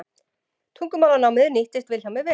Tungumálanámið nýttist Vilhjálmi vel.